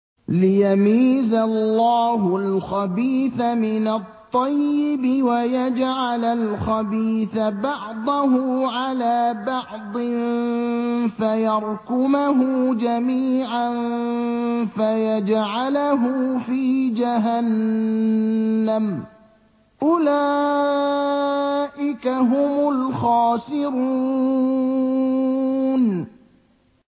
لِيَمِيزَ اللَّهُ الْخَبِيثَ مِنَ الطَّيِّبِ وَيَجْعَلَ الْخَبِيثَ بَعْضَهُ عَلَىٰ بَعْضٍ فَيَرْكُمَهُ جَمِيعًا فَيَجْعَلَهُ فِي جَهَنَّمَ ۚ أُولَٰئِكَ هُمُ الْخَاسِرُونَ